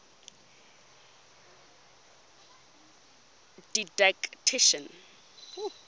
didactician